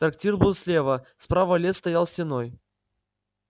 трактир был слева справа лес стоял стеной